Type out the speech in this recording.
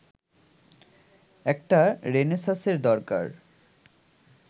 একটা রেনেসাঁসের দরকার